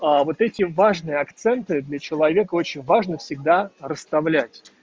а вот этим важные акценты для человека очень важно всегда расставлять